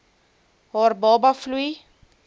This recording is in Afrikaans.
haar baba vloei